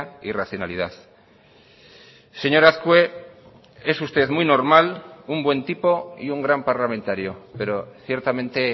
y racionalidad señor azkue es usted muy normal un buen tipo y un gran parlamentario pero ciertamente